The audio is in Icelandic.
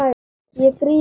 Ég gríp hana.